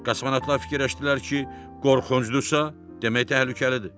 Kosmonavtlar fikirləşdilər ki, qorxuncdursa demək təhlükəlidir.